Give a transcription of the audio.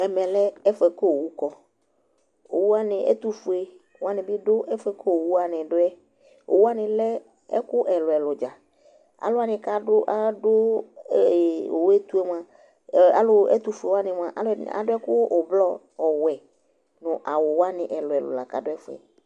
Ɛmɛ lɛ ɛfʊ kʊ owunɩ kɔ, ɛtʊfue alʊnɩ dʊ ɛfʊ yɛ bua kʊ owuwanɩ dʊ yɛ, owuwanɩ lɛ ivi ɛlʊɛlʊ, ɛtʊfue alʊwanɩ adʊ awu avavlitsɛ, ɔwɛ nʊ awuwanɩ ɛlʊɛlʊ